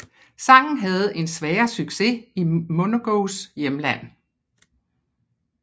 Sangen havde en svagere succes i Minogues hjemland